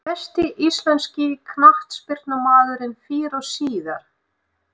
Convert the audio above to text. Besti íslenski knattspyrnumaðurinn fyrr og síðar?